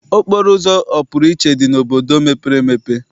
Okporoụzọ ọpụrụiche dị n'obodo mepere emepe.